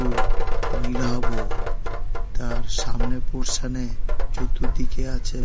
ওই নীলাভ তার সামনে পোরশন -এ চতুর্দিকে আছে--